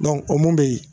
o mun bɛ yen